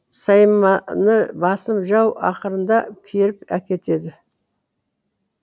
сайманы басым жау ақырында керіп әкетеді